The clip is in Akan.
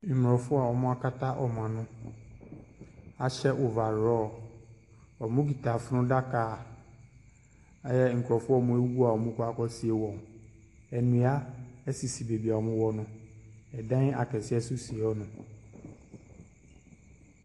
Mmorɔfo a wɔakata wɔn ano ahyɛ over raw. Wɔkita funnaka a ɛyɛ nkurɔfoɔ a wɔwu a wɔrekɔ akɔsie wɔn. Nnua sisi baabi a wɔwɔ no. Ɛdan akɛseɛ nso si hɔnom.